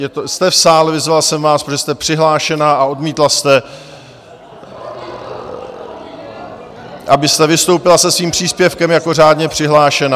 Jste v sále, vyzval jsem vás, protože jste přihlášena, a odmítla jste, abyste vystoupila se svým příspěvkem jako řádně přihlášená.